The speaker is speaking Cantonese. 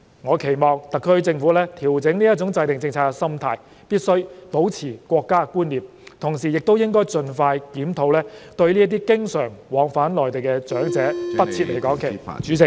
我期望特區政府官員調整制訂政策的心態，必須保持國家觀念，同時亦應盡快進行檢討，不再對經常往返內地的長者設離港期限......